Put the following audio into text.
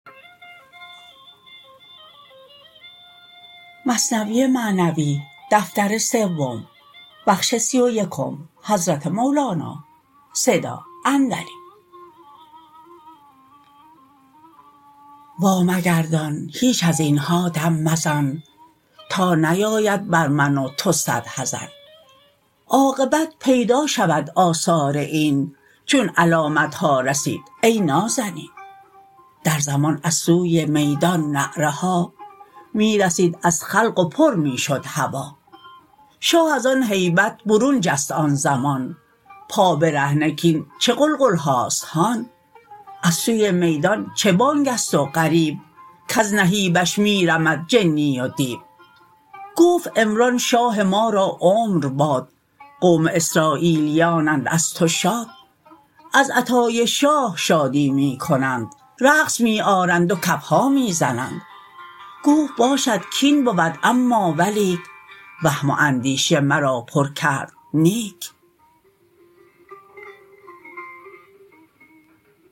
وا مگردان هیچ ازینها دم مزن تا نیاید بر من و تو صد حزن عاقبت پیدا شود آثار این چون علامتها رسید ای نازنین در زمان از سوی میدان نعره ها می رسید از خلق و پر می شد هوا شاه از آن هیبت برون جست آن زمان پابرهنه کین چه غلغلهاست هان از سوی میدان چه بانگست و غریو کز نهیبش می رمد جنی و دیو گفت عمران شاه ما را عمر باد قوم اسراییلیانند از تو شاد از عطای شاه شادی می کنند رقص می آرند و کفها می زنند گفت باشد کین بود اما ولیک وهم و اندیشه مرا پر کرد نیک